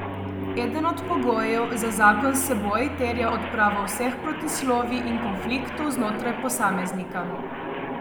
Eden od pogojev za zakon s seboj terja odpravo vseh protislovij in konfliktov znotraj posameznika.